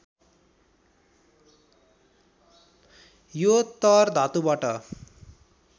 यो तर् धातुबाट